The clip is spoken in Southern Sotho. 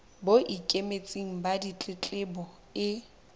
bo ikemetseng ba ditletlebo e